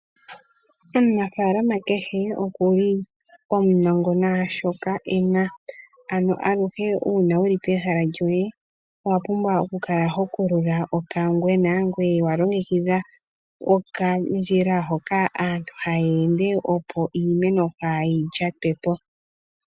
Omunafaalama kehe oku li omunongo naashoka ena, ano aluhe uuna wu li pehala lyoye owapumbwa okukala ho kulula okangwena ngoye wa longekidha okandjila hoka aantu ha ya ende opo iimeno kaayi lyatwe po.